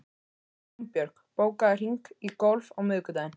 Gunnbjörg, bókaðu hring í golf á miðvikudaginn.